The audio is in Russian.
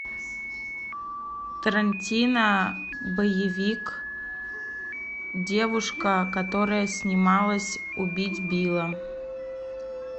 тарантино боевик девушка которая снималась убить билла